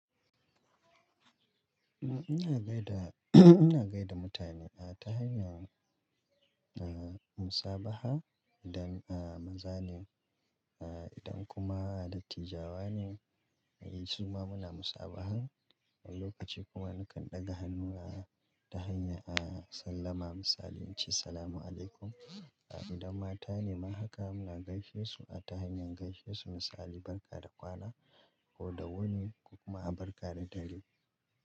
Ina gaida, ina gaida mutane a ta hanyar, eh, musabaha da, eh, mazalin, eh, idan kuma dattijawane, eh, suna muna musabaha. Lokaci kuma nakan ɗaga hannu a ta hanya, a sallama misali in ce "Salamun alaikum." Idan mata ne ma haka muna gaishe su a ta hanyar gaishe su misali "Barka da kwana" ko da wani kuma "Barka da dare."